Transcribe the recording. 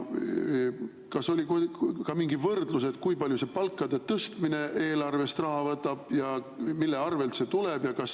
Kas oli ka mingi võrdlus, kui palju see palkade tõstmine eelarvest raha võtab ja mille arvelt see tuleb?